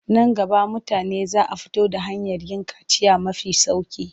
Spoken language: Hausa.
Nan gaba mutane za a fito da hanyar yin kaciya mafi sauƙi.